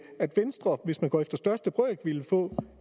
at venstre hvis man går efter største brøk ville få